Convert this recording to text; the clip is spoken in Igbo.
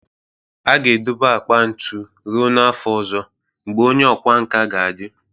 A ga-edobe akpa ntu ruo n'afọ ọzọ, mgbe onye ọkwá nkà ga-adị